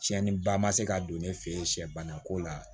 Tiɲɛniba ma se ka don ne fɛ yen sɛ bana ko la